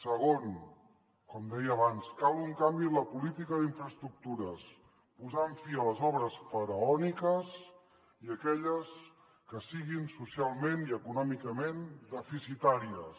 segon com deia abans cal un canvi en la política d’infraestructures posant fi a les obres faraòniques i a aquelles que siguin socialment i econòmicament deficitàries